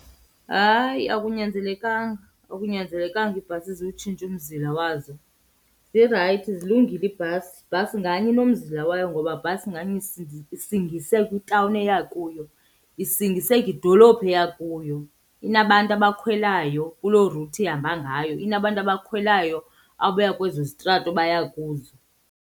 Hayi, akunyanzelekanga. Akunyanzelekanga iibhasi ziwutshintshe umzila wazo. Zirayithi, zilungile iibhasi. Ibhasi nganye inomzila wayo ngoba bhasi nganye isingise kwitawuni eya kuyo, isingise kwidolophu eya kuyo. Inabantu abakhwelayo kuloo route ihamba ngayo, inabantu abakhwelayo abaya kwezo zitrato baya kuzo.